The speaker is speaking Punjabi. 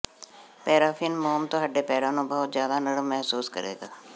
ਪੈਰਾਫ਼ਿਨ ਮੋਮ ਤੁਹਾਡੇ ਪੈਰਾਂ ਨੂੰ ਬਹੁਤ ਜ਼ਿਆਦਾ ਨਰਮ ਮਹਿਸੂਸ ਕਰੇਗਾ